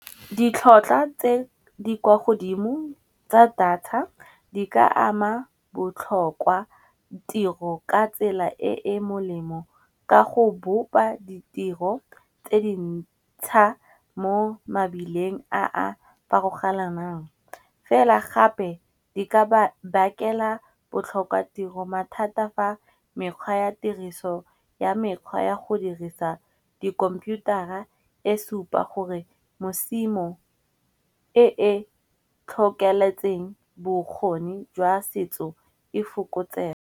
Ditlhotlhwa tse di kwa godimo tsa data di ka ama botlhokwa tiro ka tsela e e molemo, ka go bopa ditiro tse di ntsha mo mabileng a a farologanang. Fela gape di ka bakela botlhokwa tiro mathata fa mekgwa ya tiriso ya mekgwa ya go dirisa dikhomputara e supa gore mosimo e e tlhokeletseng bokgoni jwa setso e fokotsege.